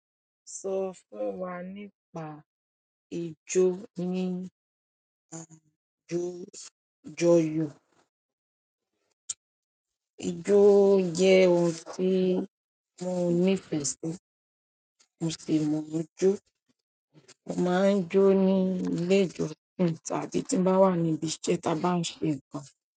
Sọ fún wa nípa ijó ní àjọyọ̀. Ijó jẹ ohun tí mo nífẹ̀ẹ́ sí. Mo sì mọ jó. Mo máa ń jó ní ilé ìjọsìn tàbí tí n bá wà níbi ìṣe tí a bá ń ṣe nǹkan.